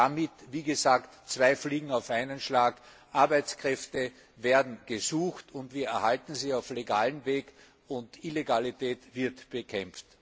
Damit fängt man zwei Fliegen auf einen Schlag Arbeitskräfte werden gesucht, und wir erhalten sie auf legalem Weg, und Illegalität wird bekämpft.